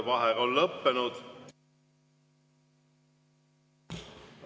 Vaheaeg on lõppenud.